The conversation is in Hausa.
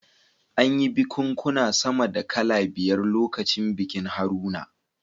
An yi bikunkuna sama da kala biyar lokacin bikin Haruna